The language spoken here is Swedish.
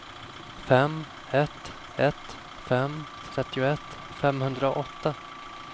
fem ett ett fem trettioett femhundraåtta